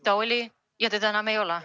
Linn oli, ja enam teda ei ole.